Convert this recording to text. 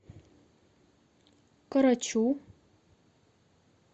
корочу